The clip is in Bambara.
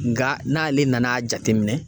Nka n'ale nan'a jateminɛ